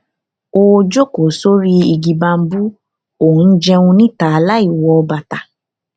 ó jókòó sórí igi bambú ó ó ń jẹun níta láìwọ bàtà